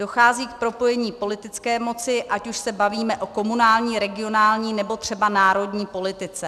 Dochází k propojení politické moci, ať už se bavíme o komunální, regionální, nebo třeba národní politice.